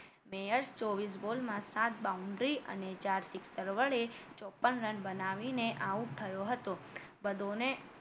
mayor ચોવીશ બોલમાં સાત boundary અને ચાર sixer વડે ચોપન રન બનાવી ને out થયો હતો બધોની